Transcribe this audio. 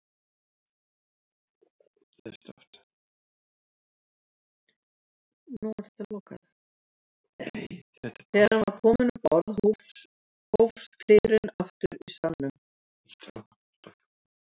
Þegar hann var kominn um borð hófs kliðurinn aftur í salnum.